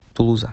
тулуза